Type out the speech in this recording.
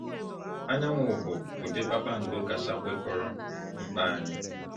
Anyanwụ bụ ụdị kpakpando kacha kwekọrọ mkpa anyị.